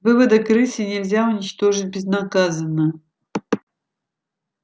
выводок рыси нельзя уничтожить безнаказанно